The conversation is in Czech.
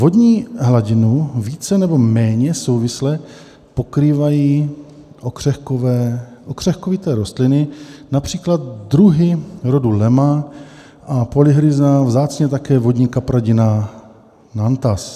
Vodní hladinu více nebo méně souvisle pokrývají okřehkovité rostliny, například druhy rodu Lemna a polyrhiza, vzácně také vodní kapradina natans.